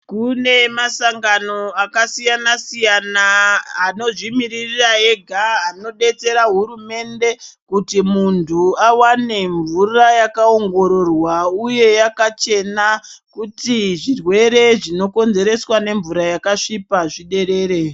Kune masangano akasiyana-siyana anozvimirira ega anodetsera hurumende kuti muntu awane mvura yakaongororwa uye yakachena kuti zvirwere zvinokonzereswa nemvura yakasvipa zviderere.